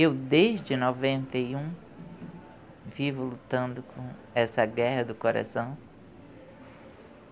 Eu, desde noventa e um, vivo lutando com essa guerra do coração.